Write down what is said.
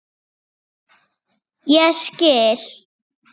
Ég skil